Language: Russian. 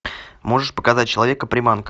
можешь показать человека приманка